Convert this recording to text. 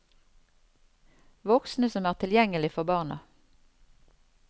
Voksne som er tilgjengelig for barna.